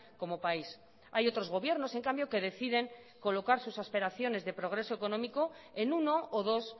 como país hay otros gobiernos en cambio que deciden colocar sus aspiraciones de progreso económico en uno o dos